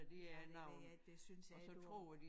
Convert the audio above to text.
Ja men det er det synes jeg ikke du